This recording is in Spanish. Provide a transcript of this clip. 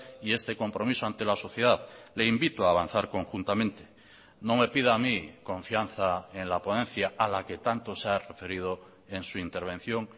y este compromiso ante la sociedad le invito a avanzar conjuntamente no me pida a mí confianza en la ponencia a la que tanto se ha referido en su intervención